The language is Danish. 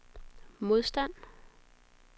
modstand